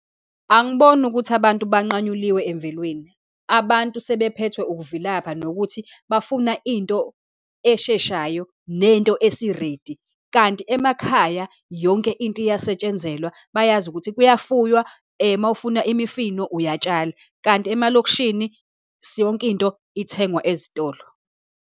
Angiboni ukuthi abantu banqanyuliwe emvelweni. Abantu sebephethwe ukuvilapha, nokuthi bafuna into esheshayo, nento esi-ready. Kanti emakhaya, yonke into iyasetshenzelwa, bayazi ukuthi kuyafuwa, uma ufuna imifino, uyatshala. Kanti emalokishini yonke into ithengwa ezitolo.